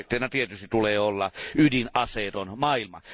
Tavoitteena tietysti tulee olla ydinaseeton maailma.